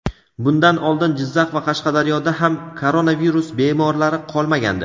Bundan oldin Jizzax va Qashqadaryoda ham koronavirus bemorlari qolmagandi.